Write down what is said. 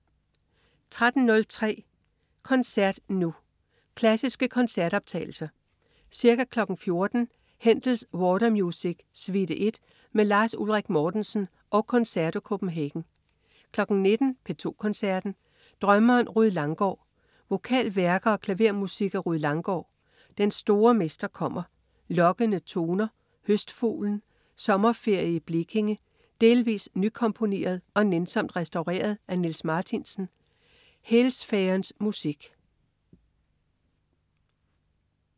13.03 Koncert Nu. Klassiske koncertoptagelser. Ca. 14.00 Händels "Water music", suite 1, med Lars Ulrik Mortensen og Concerto Copenhagen 19.00 P2 Koncerten. Drømmeren Rued Langgaard. Vokalværker og klavermusik af Rued Langgaard: Den store Mester kommer. Lokkende toner. Høstfuglen. Sommerferie i Blekinge, delvis nykomponeret og nænsomt restaureret af Niels Marthinsen. Hël-Sfærernes Musik